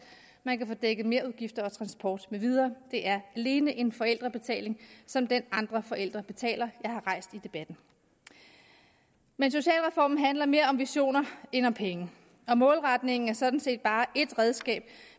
man kan få dækket merudgifter og transport med videre det er alene en forældrebetaling som den andre forældre betaler jeg har rejst i debatten men socialreformen handler mere om visioner end om penge og målretningen er sådan set bare et redskab